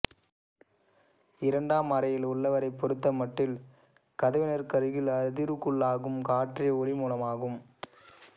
இரண்டாம் அறையில் உள்ளவரைப் பொறுத்தமட்டில் கதவினருகில் அதிர்வுக்குள்ளாகும் காற்றே ஒலி மூலமாகும்